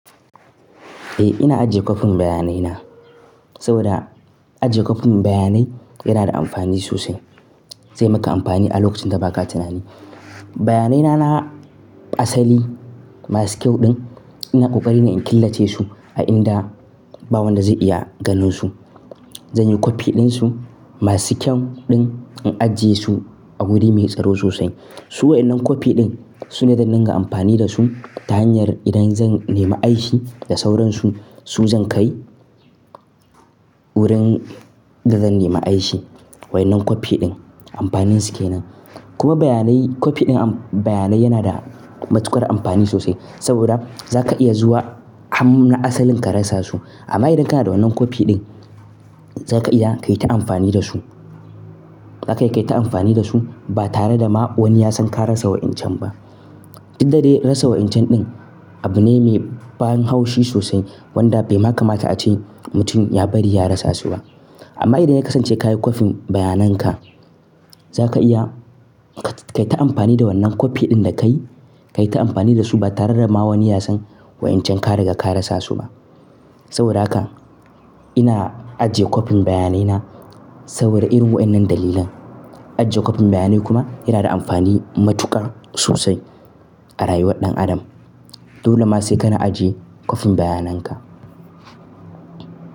Eh ina ajiye kwafin bayanai na, saboda ajiye kwafin bayanai yana da amfani sosai. Zai maka amfani a lokacin da ba ka tunani. Bayanai na na asali masu kyau ɗin ina ƙoƙari na in killace su, a inda ba wanda zai iya ganin su. Zan yi kwafi din su, masu kyau ɗin, in ajiye su a wuri mai tsaro sosai. Su wa'innen kwafi din, sune zan dinga amfani da su ta hanyar idan zan nema aiki da sauransu, su zan kai wurin da zan nema aiki. Wa'innen kwafi din amfanin su kenan. Kuma bayanai kwafi din bayanai yana da matuƙar amfani sosai saboda za ka iya zuwa har ma na asalin ka rasa su. Amma idan kana da wannan kwafi din za ka iya ka yi ta amfani da su. Za ka iya ka yi ta amfani da su ba tare da ma wani ya san ka rasa wa'incan ba. Duk da dai nasu wa'incan din abu ne mai ban haushi sosai, wanda bai ma kamata a ce mutum ya bari ya rasa su ba. Amma idan ya kasance ka yi kwafin bayanan ka, za ka iya ka yi ta amfani da wannan kwafi din da ka yi, ka yi ta amfani da su ba tare da ma wani ya san wa'incan ka riga ka rasa su ba. Saboda haka ina ajiye kwafin bayanai na, saboda irin wa'inen dalilan. Ajiye kwafin bayanai kuma yana da amfani matuƙar sosai a rayuwar ɗan adam. Dole ma sai ka na ajiye kwafin bayanan ka.